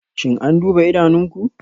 Shin an duba idanunku?